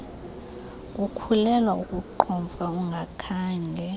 kukhulelwa ukuqhomfa ungakhange